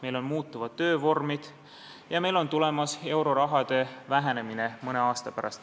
Meil on muutuvad töövormid ja mõne aasta pärast meil euroraha väheneb.